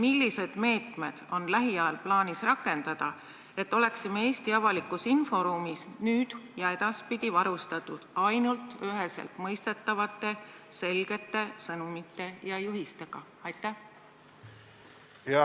Millised meetmed on lähiajal plaanis rakendada, et oleksime Eesti avalikus inforuumis nüüd ja edaspidi varustatud ainult üheseltmõistetavate selgete sõnumite ja juhistega?